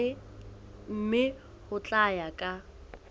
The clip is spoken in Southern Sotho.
mme ho tla ya ka